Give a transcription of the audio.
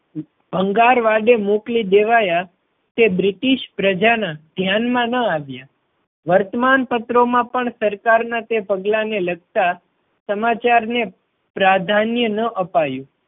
ભંગાર વાડે મોકલી દેવાયા તે બ્રિટિશ પ્રજા ના ધ્યાન માં ન આવ્યા. વર્તમાનપત્રો માં પણ સરકાર ના તે પગલાં ને લગતા સમાચાર ને પ્રાધાન્ય ન અપાયું.